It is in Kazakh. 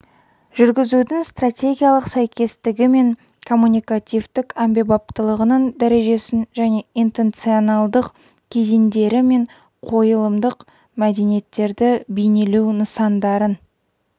жүргізудің стратегиялық сәйкестігі мен коммуникативтік әмбебаптылығының дәрежесін және интенционалдық кезеңдері мен қойылымдық міндеттерді бейнелеу нысандарын